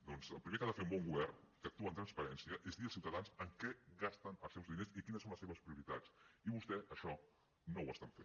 doncs el primer que ha de fer un bon govern que actua amb transparència és dir als ciutadans en què gasten els seus diners i quines són les seves prioritats i vostès això no ho estan fent